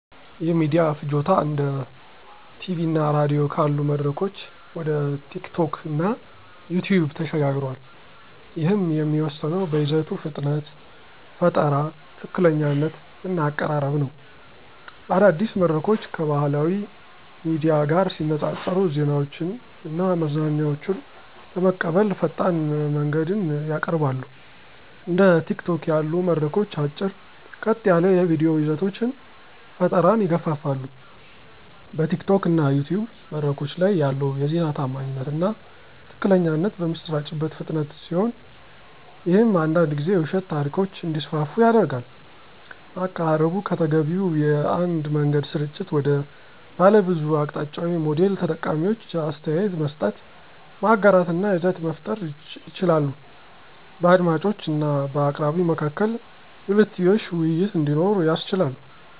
የሚዲያ ፍጆታ እንደ ቲቪ እና ራዲዮ ካሉ መድረኮች ወደ ቲኪቶክ እና ዩቲዩብ ተሸጋግሯል፤ ይህም የሚወሰነው በይዘቱ ፍጥነት፣ ፈጠራ፣ ትክክለኛነት እና አቀራረብ ነው። አዳዲስ መድረኮች ከባህላዊ ሚዲያ ጋር ሲነፃፀሩ ዜናዎችን እና መዝናኛዎችን ለመቀበል ፈጣን መንገድን ያቀርባሉ። እንደ ቲኪቶክ ያሉ መድረኮች አጭር፣ ቀጥ ያሉ የቪዲዮ ይዘቶች ፈጠራን ይገፋፋሉ። በቲኪቶክ እና ዩቲዩብ መድረኮች ላይ ያለው የዜና ታማኝነት እና ትክክለኛነት በሚሰራጭበት ፍጥነት ሲሆን ይህም አንዳንድ ጊዜ የውሸት ታሪኮች እንዲስፋፉ ያደርጋል። አቀራረቡ ከተገቢው የአንድ መንገድ ስርጭት ወደ ባለብዙ አቅጣጫዊ ሞዴል ተጠቃሚዎች አስተያየት መስጠት፣ ማጋራት እና ይዘት መፍጠር ይችላሉ። በአድማጮች እና በአቅራቢው መካከል የሁለትዮሽ ውይይት እንዲኖር ያስችላል።